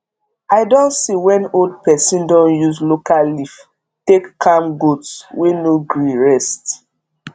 i don see when old person don use local leaf take calm goats wey no gree rest